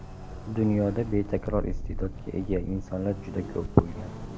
Dunyoda betakror iste’dodga ega insonlar juda ko‘p bo‘lgan.